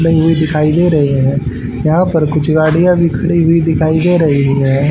दिखाई दे रहे हैं यहां पर कुछ गाड़ियां भी खड़ी हुई दिखाई दे रही है।